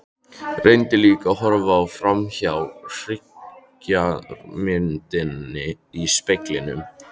Reyndi líka að horfa framhjá hryggðarmyndinni í speglinum.